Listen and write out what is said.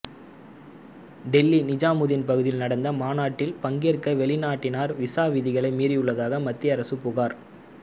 டெல்லி நிஜாமுதீன் பகுதியில் நடந்த மாநாட்டில் பங்கேற்ற வெளிநாட்டினர் விசா விதிகளை மீறியுள்ளதாக மத்திய அரசு புகார்